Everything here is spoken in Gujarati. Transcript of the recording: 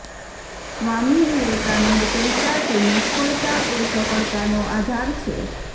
સ્વામી વિવેકાનંદ કહેતા કે નિષ્ફળતા એ સફળતાનો આધાર છે